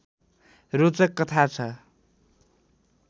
रोचक कथा छ